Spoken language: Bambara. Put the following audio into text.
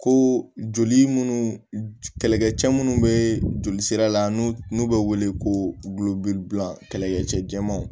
Ko joli minnu kɛlɛkɛ cɛ minnu bɛ joli sira la n'u n'u bɛ wele ko gulɔbila kɛlɛkɛ cɛmanw